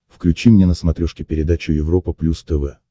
включи мне на смотрешке передачу европа плюс тв